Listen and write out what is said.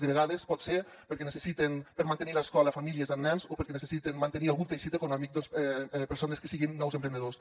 de vegades pot ser perquè necessiten per mantenir l’escola famílies amb nens o perquè necessiten mantenir algun teixit econòmic persones que siguin nous emprenedors